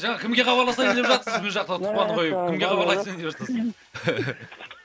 жаңа кімге хабарласайын деп жатсыз бұл жақта тұтқаны қойып кімге хабарласайын деватсыз